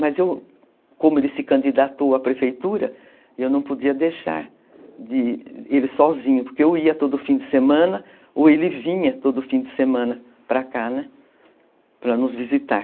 Mas eu, como ele se candidatou à prefeitura, eu não podia deixar ele sozinho, porque eu ia todo fim de semana, ou ele vinha todo fim de semana para cá, né, para nos visitar.